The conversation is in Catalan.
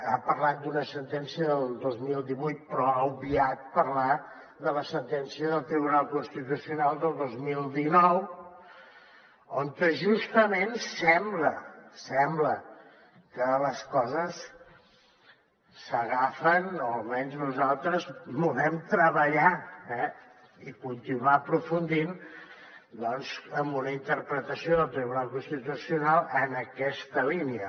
ha parlat d’una sentència del dos mil divuit però ha obviat parlar de la sentència del tribunal constitucional del dos mil dinou on justament sembla sembla que les coses s’agafen o almenys nosaltres volem treballar eh i continuar aprofundint en una interpretació del tribunal constitucional en aquesta línia